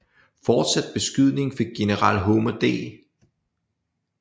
Fortsat beskydning fik general Homer D